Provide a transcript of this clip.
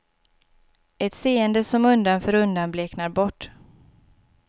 Ett seende som undan för undan bleknar bort.